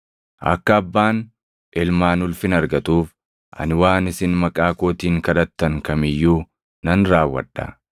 Akka Abbaan Ilmaan ulfina argatuuf ani waan isin maqaa kootiin kadhattan kam iyyuu nan raawwadha.